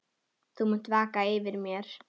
Þú munt vaka yfir mér.